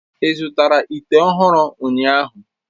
Ị zụtara ite ọhụrụ ụnyahụ?